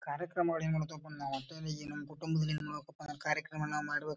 ಕಾರ್ಯಕ್ರಮಗಳು ಏನಿರತವ ಅಪ ನಾವ್ ಕುಟುಂಬದಿಂದಲ್ಲಿ ಏನ್ ಮಾಡಬೇಕ ಅಪ್ಪ ನಮ್ಮ್ ಕಾರ್ಯಕ್ರಮನ ಮಾಡ್ಬೇಕ್.